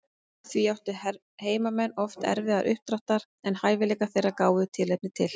Því áttu heimamenn oft erfiðara uppdráttar en hæfileikar þeirra gáfu tilefni til.